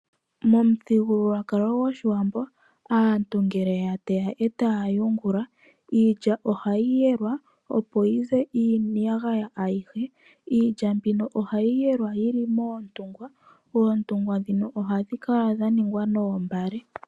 Momuthigululwakalo goshiwambo aantu ngele yateya e taya yungula, iilya ohayi yelwa opo yize iiyagaya ayihe. Iilya mbino ohayi yelwa yili moontungwa, oontungwa ohadhi kala dhaningwa noombale.